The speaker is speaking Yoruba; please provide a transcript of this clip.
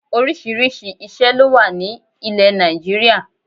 Orísìírísìí ìṣé ló wà ní ilè Nàìjíríà